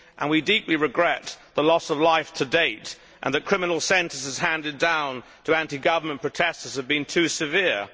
We deeply regret the loss of life to date and the fact that criminal sentences handed down to anti government protesters have been too severe.